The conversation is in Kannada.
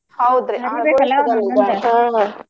ಹೌದ್ರಿ .